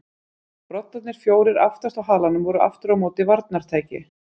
Broddarnir fjórir aftast á halanum voru aftur á móti varnartæki.